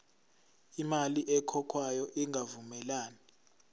imali ekhokhwayo ingavumelani